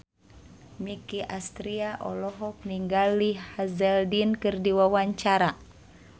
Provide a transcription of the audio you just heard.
Nicky Astria olohok ningali Sam Hazeldine keur diwawancara